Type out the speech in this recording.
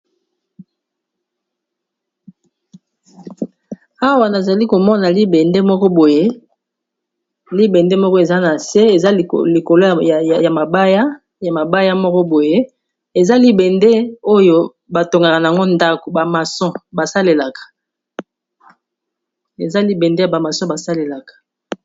Awa nazali komona libende moko boye eza na se, eza likolo ya mabaya moko boye oyo batongaka yango ndako eza libende ya ba maçon basalelaka.